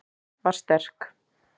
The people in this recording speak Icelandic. Vera sterk.